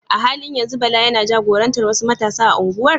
A halin yanzu Bala yana jagorantar wasu matasa a unguwar?